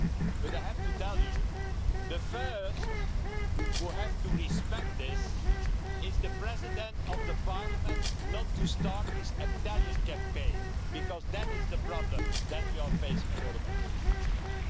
But I have to tell you the first person who has to respect this is the President of the Parliament not to start his Italian campaign, because that is the problem that we are facing for the moment.